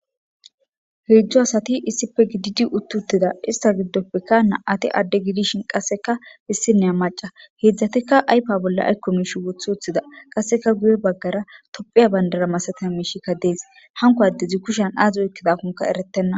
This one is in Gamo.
Heedzu asati issippe gididi uttida izeta giddope nam'ati adde gidishin qasseka issiniya macca. Heedzatika ayfa bolla ayko miishi woththi wothida. Qasseka guye baggara Tophphiya bandira masatiza miishi dees. Hanko addezi kushan aazi oykidakon eretena.